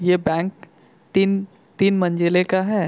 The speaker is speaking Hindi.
ये बैंक तिन तिन मंजिले का है।